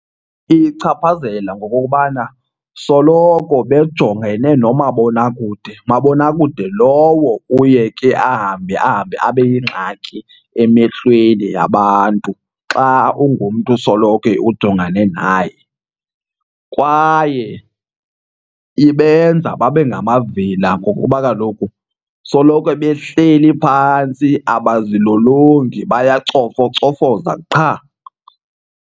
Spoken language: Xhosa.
Iyichaphazela ngokokubana soloko bejongene nomabonakude, mabonakude lowo uye ke ahambe ahambe abe yingxaki emehlweni yabantu xa ungumntu usoloko ujongane naye. Kwaye ibenza babe ngamavila ngokuba kaloku soloko behleli phantsi abazilolongi, bayacofocofoza qha.